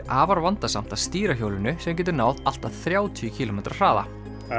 afar vandasamt að stýra hjólinu sem getur náð allt að þrjátíu kílómetra hraða